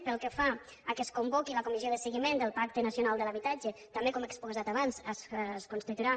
pel que fa al fet que es convoqui la comissió de seguiment del pacte nacional de l’habitatge també com he exposat abans es constituirà